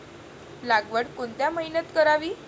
लागवड कोणत्या महिन्यात करावी